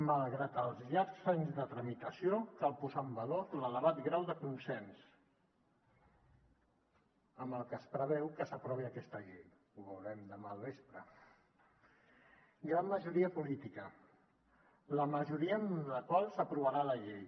malgrat els llargs anys de tramitació cal posar en valor l’elevat grau de consens amb el que es preveu que s’aprovi aquesta llei ho veurem demà al vespre gran majoria política la majoria amb la qual s’aprovarà la llei